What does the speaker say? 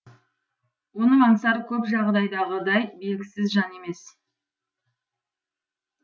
оның аңсары көп жағдайдағыдай белгісіз жан емес